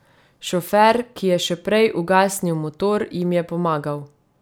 Šofer, ki je še prej ugasnil motor, jim je pomagal.